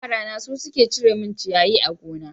Yara na su suke cire min ciyayi a gona.